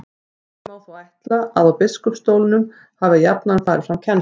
Einkum má þó ætla að á biskupsstólunum hafi jafnan farið fram kennsla.